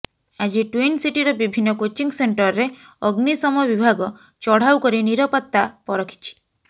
ଆଜି ଟ୍ୱିନ୍ ସିଟିର ବିଭିନ୍ନ କୋଚିଂ ସେଣ୍ଟରରେ ଅଗ୍ନିଶମ ବିଭାଗ ଚଢାଉ କରି ନିରାପତ୍ତା ପରଖିଛି